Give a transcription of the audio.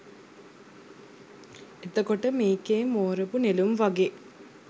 එතකොට මේකේ මෝරපු නෙළුම් වගේ